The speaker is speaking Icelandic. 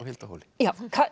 Hildi á Hóli